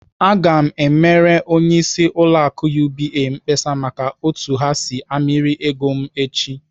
Aga m emere onyeisi ụlọ akụ UBA mkpesa maka otu ha si amịrị ego m echi!